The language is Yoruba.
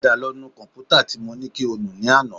Padà lọ nu kọ̀m̀pútà tí mo ní kí o nù ní àná